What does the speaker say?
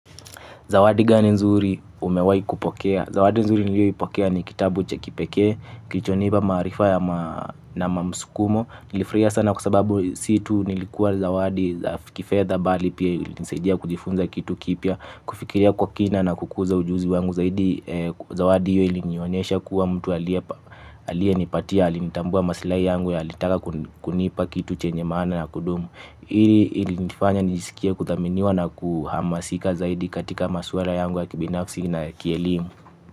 Zawadi gani nzuri umewahi kupokea? Zawadi nzuri niliyoipokea ni kitabu cha kipekee, kilichonipa maarifa na msukumo. Nilifurahi sana kwa sababu si tu ilikuwa zawadi ya kifedha, bali pia ilinisaidia kujifunza kitu kipya, kufikiria kwa kina na kukuza ujuzi wangu. Zawadi hiyo ilinionyesha kuwa mtu aliyenipatia alitambua maslahi yangu na alitaka kunipa kitu chenye maana na cha kudumu. Hili lilinifanya nijisikie kuthaminiwa na kuhamasika zaidi katika masuala yangu ya kibinafsi na kielimu.